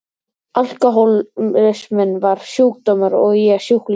Alkohólisminn var sjúkdómur og ég sjúklingur.